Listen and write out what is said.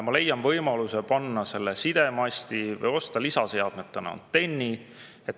Ma leian võimaluse panna selle sidemasti või osta lisaseadmena antenni.